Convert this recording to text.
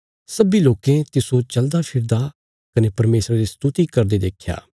सब्बीं लोकें तिस्सो चलदाफिरदा कने परमेशरा री स्तुति करदे देख्या